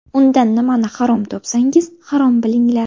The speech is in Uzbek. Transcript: Unda nimani harom topsangiz, harom bilinglar!